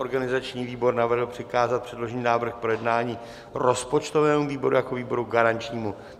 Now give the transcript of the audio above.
Organizační výbor navrhl přikázat předložený návrh k projednání rozpočtovému výboru jako výboru garančnímu.